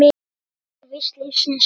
Svona er víst lífsins gangur.